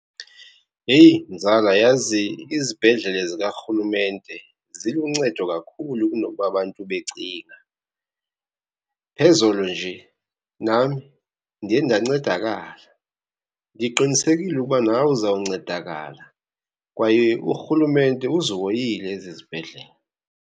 Yeyi mzala, yazi izibhedlele zikarhulumente ziluncedo kakhulu kunokuba abantu becinga. Phezolo nje nami ndiye ndancedakala. Ndiqinisekile ukuba nawe uzawuncedakala, kwaye urhulumente uzihoyile ezi zibhedlele.